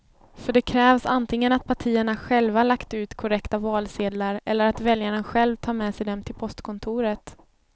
För det krävs antingen att partierna själva lagt ut korrekta valsedlar eller att väljaren själv tar med sig dem till postkontoret.